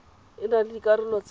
e na le dikarolo tse